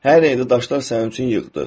Hər yeri də daşlar sənin üçün yığdıq.